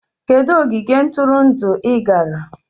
Kedu ogige ntụrụndụ ị gara?